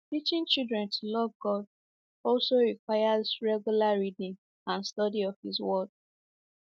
Teaching children to love God also requires regular reading and study of his Word.